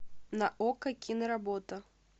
на окко киноработа